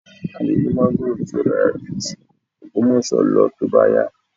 A lè rí máńgórò tí yóò dára ju ti Ògbómọ̀ṣọ́ lọ tó bá yá